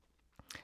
TV 2